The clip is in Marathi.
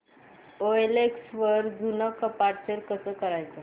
ओएलएक्स वर जुनं कपाट सेल कसं करायचं